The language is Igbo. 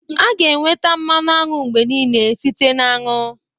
A ga-enweta mmanụ aṅụ mgbe niile site na-aṅụ.